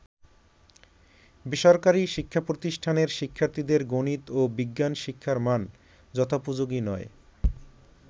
বেসরকারি শিক্ষাপ্রতিষ্ঠানের শিক্ষার্থীদের গনিত ও বিজ্ঞান শিক্ষার মান যথোপযোগী নয়।